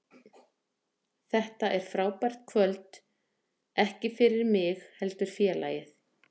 Þetta er frábært kvöld, ekki fyrir mig heldur félagið.